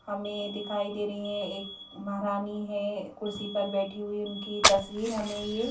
हमें दिखाई दे रही है एक महारानी है कुर्सी पर बैठी हुई उनकी तस्वीर हमें ये--